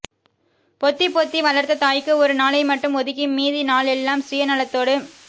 பொத்திப்பொத்தி வளர்த்த தாய்க்கு ஒரு நாளை மட்டும் ஒதுக்கி மீதி நாளெல்லாம் சுயநலத்தோடு